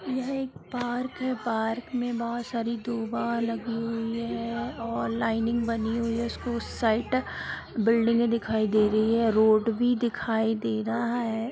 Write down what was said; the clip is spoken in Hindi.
यह एक पार्क हिय | पार्क में बहुत सारी डबा लगी हुई | रो लाइनिंग बनी हुई है| उसके उस साइक बिल्डिंग ए दिखाई दे रही है| रोड भी दिखाई दे रहा है।